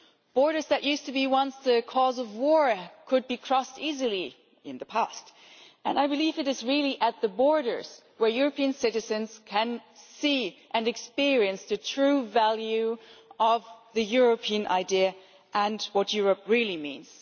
Borders that used to be once the cause of war could be crossed easily in the past, and I believe it is really at the borders where European citizens can see and experience the true value of the European idea and what Europe really means.